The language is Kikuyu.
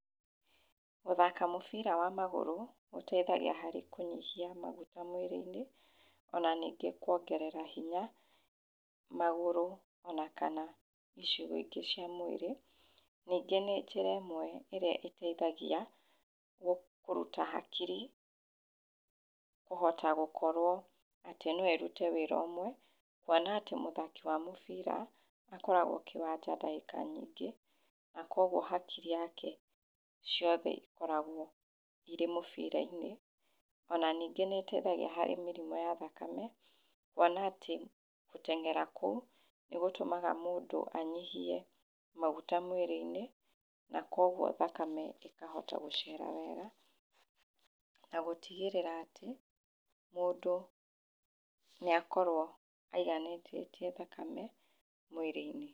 Gũthaka mũbira wa magũrũ gũteithagia harĩ kũnyihia maguta mwĩrĩ-inĩ ona ningĩ kuongrera hinya magũrũ ona kana icigo ingĩ cia mwĩrĩ. Ningĩ nĩ njĩra ĩmwe ĩrĩa ĩteithagia kũruta hakiri kũhota gũkorwo atĩ no ĩrute wĩra ũmwe, kuona atĩ mũthaki wa mũbira akoragwo kĩwanja ndagĩka nyingĩ na akuoguo hakiri yake ciothe ikoragwo irĩ mũbira-inĩ. Ona ningĩ nĩ ĩteithagia harĩ mĩrimũ ya thakame kuona ati gũteng'era kũu nĩ gũtũmaga mũndũ anyihie maguta mwĩrĩ-inĩ na koguo thakame ĩkahota gũcera wega na gũtigĩrĩra atĩ mũndũ nĩ akorwo aiganĩtie thakame mwĩrĩ-inĩ.